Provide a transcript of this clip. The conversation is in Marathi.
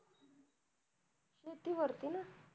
शेतीवरती ना?